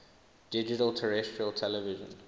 digital terrestrial television